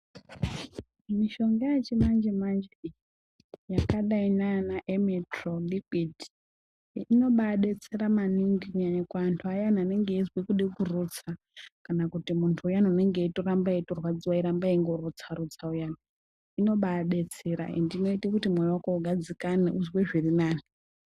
Mishonga yechimanje manje iyi yakadai ndiana emetrol inobayi betsera maningi kunyanya kuwandu ayaya anenge eyizwe kuda kurutsa kana kuti mundu uyani unenge weyirwadziwa eyiramba engorutsa rutsa uyani unombaibetsera ende unoita kuti moyo wako ugadzikane uzwe zviri nani.